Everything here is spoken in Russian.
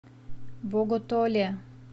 боготоле